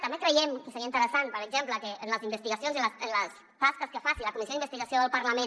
també creiem que seria interessant per exemple que en les investigacions i en les tasques que faci la comissió d’investigació del parlament